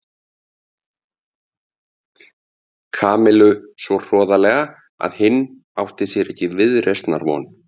Kamillu svo hroðalega að hinn átti sér ekki viðreisnar von.